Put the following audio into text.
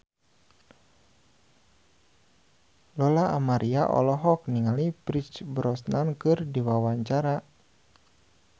Lola Amaria olohok ningali Pierce Brosnan keur diwawancara